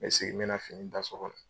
N bɛ segin n bɛ na fini da so kɔnɔ.